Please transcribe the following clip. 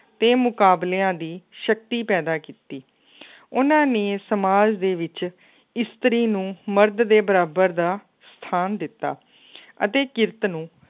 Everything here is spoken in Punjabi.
ਤੇ ਮੁਕਾਬਲਿਆਂ ਦੀ ਸ਼ਕਤੀ ਪੈਦਾ ਕੀਤੀ ਉਹਨਾਂ ਨੇ ਸਮਾਜ ਦੇ ਵਿੱਚ ਇਸਤਰੀ ਨੂੰ ਮਰਦ ਦੇ ਬਰਾਬਰ ਦਾ ਸਥਾਨ ਦਿੱਤਾ ਅਤੇ ਕਿਰਤ ਨੂੰ